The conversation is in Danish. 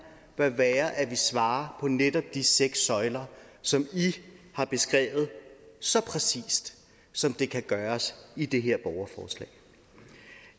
bør være at vi svarer på netop de seks søjler som i har beskrevet så præcist som det kan gøres i det her borgerforslag